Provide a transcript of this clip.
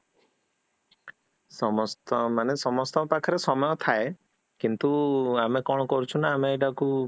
ସମସ୍ତ ମାନେ ସମସ୍ତଙ୍କ ପାଖରେ ସମୟ ଥାଏ, କିନ୍ତୁ ଆମେ କଣ କରୁଛୁ ନା ଆମେ ଏଟାକୁ